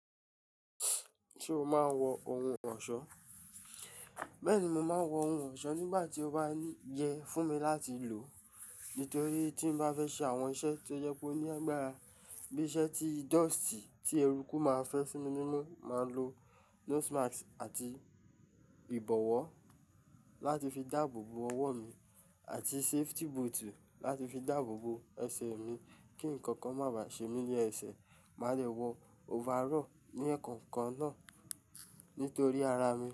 Ṣé o máa ń wọ ohun ọ̀ṣọ́? Bẹ́ẹ̀ ni mo máa ń wọ ohun ọ̀ṣọ́ nígbà tí ó bá yẹ fún mi láti lò. Nítorí tí mo bá fẹ́ ṣe àwọn iṣẹ́ tó jẹ pe oní agbara bí i iṣẹ́ tí dọ̀stì tí eruku máa fẹ́ sími ni imú, màá lo nose mask àti ìbọ̀wọ́ láti fi dáàbò bo ọwọ́ mi àti safety boot láti fi dáàbò bo ẹsẹ̀ mi kí ǹkankan máa ba ṣe mí ni ẹ́ẹ̀sẹ̀. Màá dè wọ overall ní ekan kan náà nítorí ara mi.